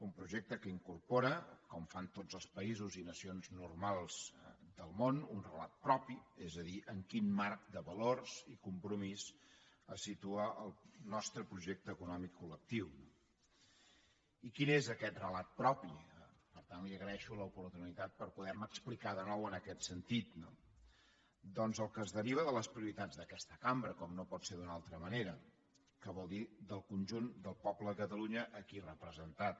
un projecte que incorpora com fan tots els països i nacions normals del món un relat propi és a dir en quin marc de valors i compromís es situa el nostre projecte econòmic colrelat propi per tant li agraeixo l’oportunitat per poder me explicar de nou en aquest sentit no doncs el que es deriva de les prioritats d’aquesta cambra com no pot ser d’una altra manera que vol dir del conjunt del poble de catalunya aquí representat